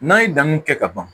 N'an ye danniw kɛ ka ban